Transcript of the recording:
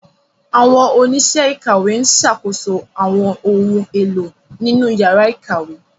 Àwọn oníṣẹ́ ìkàwé ń ṣàkóso àwọn ohun èlò nínú yàrá ìkàwé.